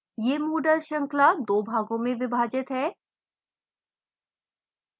यह moodle श्रृंखला दो भागों में विभाजित है